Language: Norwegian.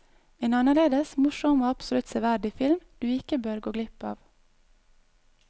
En annerledes, morsom og absolutt severdig film du ikke bør gå glipp av.